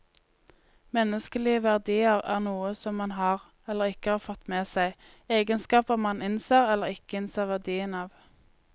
Menneskelige verdier er noe som man har, eller ikke har fått med seg, egenskaper man innser eller ikke innser verdien av.